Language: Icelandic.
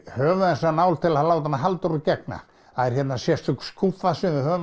höfum þessa nál til að láta hana Halldóru gegna það er hérna sérstök skúffa sem við höfum